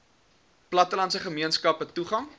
plattelandse gemeenskappe toegang